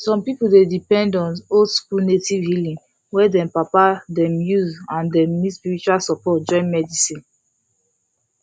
some people dey depend on oldschool native healing wey dem papa them use and dem need spiritual support join medicine